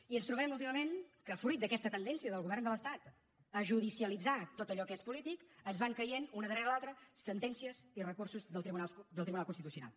i ens trobem últimament que fruit d’aquesta tendència del govern de l’estat a judicialitzar tot allò que és polític ens van caient una darrere l’altra sentències i recursos del tribunal constitucional